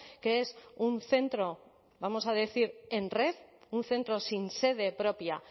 que es un centro vamos a decir en red un centro sin sede propia